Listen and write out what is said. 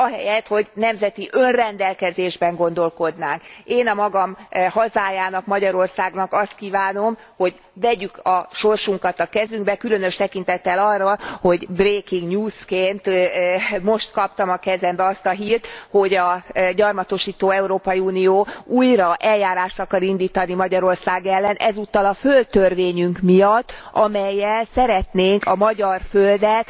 Ahelyett, hogy nemzeti önrendelkezésben gondolkodnánk. Én a magam hazájának, Magyarországnak azt kívánom, hogy vegyük a sorsunkat a kezünkbe, különös tekintettel arra, hogy breaking news ként most kaptam a kezembe azt a hírt, hogy a gyarmatosító Európai Unió újra eljárást akar indítani Magyarország ellen, ezúttal a földtörvényünk miatt, amellyel szeretnénk a magyar földet